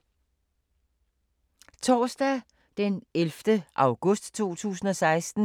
Torsdag d. 11. august 2016